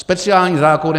Speciální zákony...